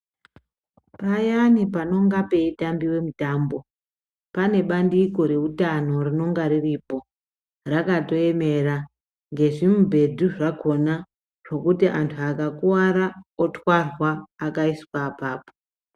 Payani panonga peitambiwa mitambo, pane bandiko reutano rinonga riripo rakatoemera ngezvimungedhu zvakona zvokuti antu akakuwara otwarwa akaiswa apapo.